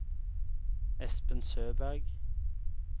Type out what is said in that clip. Espen Søberg